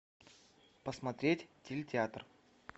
посмотреть телетеатр